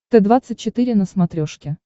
т двадцать четыре на смотрешке